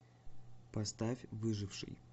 поставь выживший